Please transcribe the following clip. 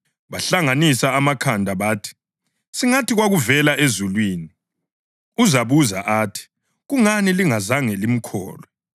Bahlanganisa amakhanda bathi, “Singathi, ‘Kwakuvela ezulwini,’ uzabuza athi, ‘Kungani lingazange limkholwe?’